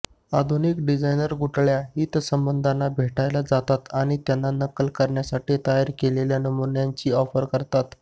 आधुनिक डिझाइनर गुठळ्या हितसंबंधांना भेटायला जातात आणि त्यांना नक्कल करण्यासाठी तयार केलेल्या नमुन्यांची ऑफर करतात